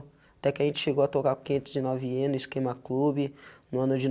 Até que a gente chegou a tocar quinhentos e nove (ienes), queima clube, no ano de